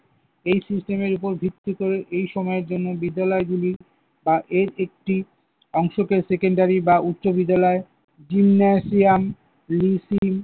এই system এর উপর ভিত্তি করে এই সময়ের জন্য বিদ্যালয়গুলি বা এর একটি অংশকে secondary বা উচ্চবিদ্যালয় gymnasium, lifting